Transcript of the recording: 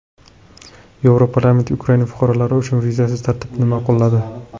Yevroparlament Ukraina fuqarolari uchun vizasiz tartibni ma’qulladi.